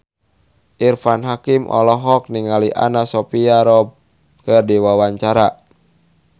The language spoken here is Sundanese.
Irfan Hakim olohok ningali Anna Sophia Robb keur diwawancara